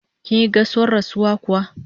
Kinyi gaisuwar rasuwa kuwa?